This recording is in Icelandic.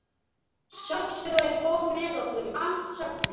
Safnstjórinn fór með okkur um allt safnið.